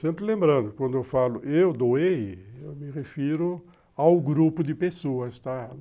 Sempre lembrando, quando eu falo eu doei, eu me refiro ao grupo de pessoas, tá?